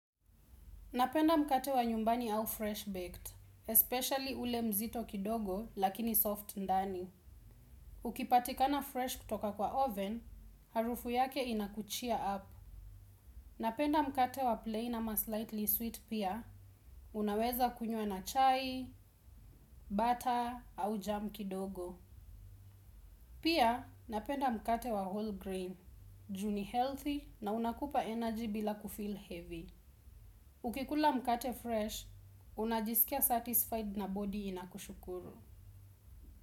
Napenda mkate wa nyumbani au fresh baked, especially ule mzito kidogo lakini soft ndani. Ukipatikana fresh kutoka kwa oven, harufu yake ina kucheer up. Napenda mkate wa plain ama slightly sweet pia, unaweza kunywa na chai, butter, au jam kidogo. Pia napenda mkate wa whole grain, ju ni healthy na una kupa energy bila kufeel heavy. Ukikula mkate fresh, unajisikia satisfied na body inakushukuru.